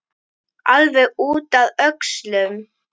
Alveg út að öxlum!